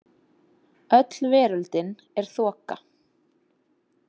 Öll veröldin er þoka.